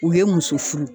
U ye muso furu